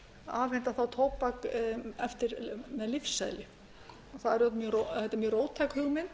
afhenda þá tóbak með lyfseðli þetta er mjög róttæk hugmynd